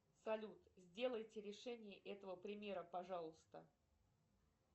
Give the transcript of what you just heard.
салют сделайте решение этого примера пожалуйста